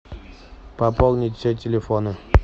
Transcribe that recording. пополнить все телефоны